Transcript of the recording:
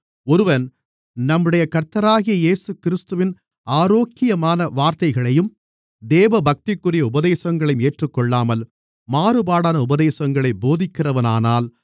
ஒருவன் நம்முடைய கர்த்தராகிய இயேசுகிறிஸ்துவின் ஆரோக்கியமான வார்த்தைகளையும் தேவபக்திக்குரிய உபதேசங்களையும் ஏற்றுக்கொள்ளாமல் மாறுபாடான உபதேசங்களைப் போதிக்கிறவனானால்